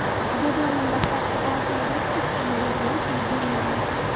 Jadvalning dastlabki olti o‘rnida hech qanday o‘zgarish yuz bermagan.